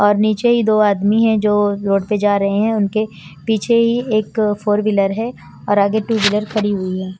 और नीचे ही दो आदमी है जो रोड पे जा रहे हैं उनके पीछे ही एक फोर व्हीलर है और आगे टू व्हीलर खड़ी हुई है।